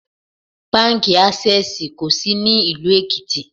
Báńkì Ásẹ́sìì kò sí ní ìlú Èkìtì.